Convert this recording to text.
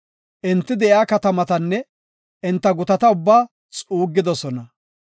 Enti de7iya katamatanne enta gutata ubbaa xuuggidosona.